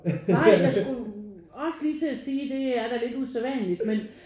Ej jeg skulle også lige til at sige det er da lidt usædvanligt men